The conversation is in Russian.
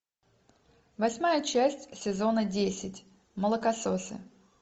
восьмая часть сезона десять молокососы